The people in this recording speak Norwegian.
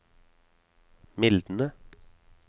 mildne